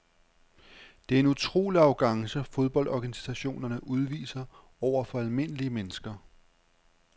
Det er en utrolig arrogance fodboldorganisationerne udviser over for almindelige mennesker.